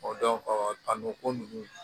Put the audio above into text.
a n'o ko ninnu